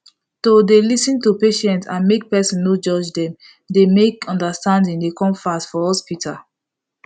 to dey lis ten to patient and make person no judge them dey make understanding dey come fast for hospital